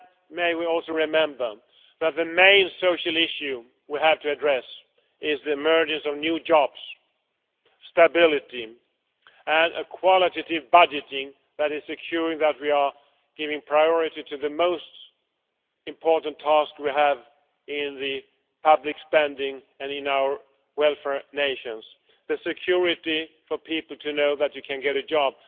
May we also remember that the main social issue we have to address is the emergence of new jobs, stability and a qualitative budgeting that is ensuring that we are giving priority to the most important task we have in the public spending and in our welfare nations the security for people to know that you can get a job.